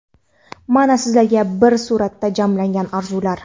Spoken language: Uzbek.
mana sizlarga bir suratda jamlangan orzular.